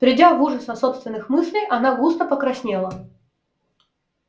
придя в ужас от собственных мыслей она густо покраснела